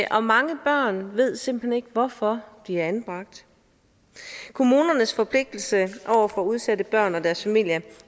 og mange børn ved simpelt hen ikke hvorfor de er anbragt kommunernes forpligtelse over for udsatte børn og deres familier